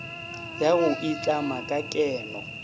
ya go itlama ka keno